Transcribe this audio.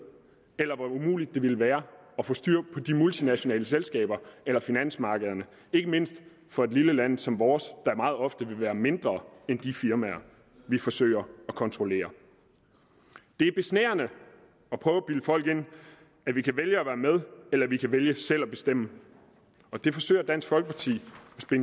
eller hvor umuligt det ville være at få styr på de multinationale selskaber eller finansmarkederne ikke mindst for et lille land som vores der meget ofte vil være mindre end de firmaer vi forsøger at kontrollere det er besnærende at prøve at bilde folk ind at vi kan vælge at være med eller at vi kan vælge selv at ville bestemme det forsøger dansk folkeparti